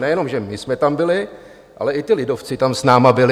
Nejenom že my jsme tam byli, ale i ti lidovci tam s námi byli.